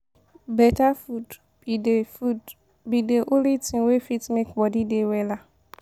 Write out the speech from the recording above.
Better food be dey food be dey only thing wey fit make body dey wella.